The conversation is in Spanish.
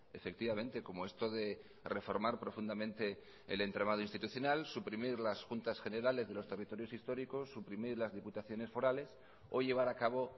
efectivamente como esto de reformar profundamente el entramado institucional suprimir las juntas generales de los territorios históricos suprimir las diputaciones forales o llevar a cabo